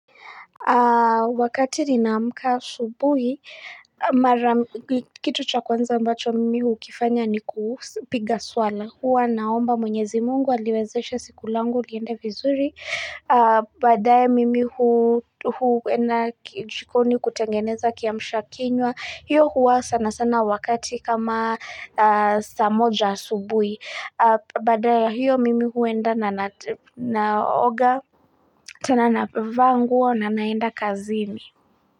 Wakati ninaamka asubuhi, kitu cha kwanza ambacho mimi hukifanya ni kupiga swala. Huwa naomba mwenyezi mungu, aliwezesha siku langu, liende vizuri. Baadae mimi huenda jikoni kutengeneza kiamsha kinywa. Hiyo huwa sana sana wakati kama saa moja asubuhi. Baada ya hiyo mimi huenda na naoga. Tena navaa nguo, na naenda kazini.